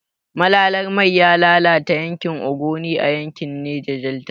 Malalar mai ya lalata yankin Ogoni a yankin Neja Delta.